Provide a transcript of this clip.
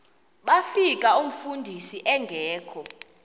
bafika umfundisi engekho